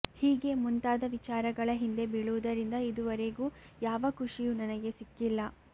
ಹೀಗೆ ಮುಂತಾದ ವಿಚಾರಗಳ ಹಿಂದೆ ಬೀಳುವುದರಿಂದ ಇದೂವರೆಗೂ ಯಾವ ಖುಷಿಯೂ ನನಗೆ ಸಿಕ್ಕಿಲ್ಲ